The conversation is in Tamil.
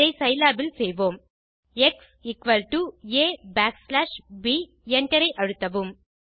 இதை சிலாப் இல் செய்வோம் x equal to a backslash b Enter ஐ அழுத்தவும்